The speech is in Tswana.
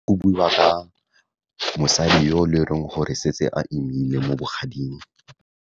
Go buiwa ka mosadi yo, le e leng gore setse a imile mo bogading.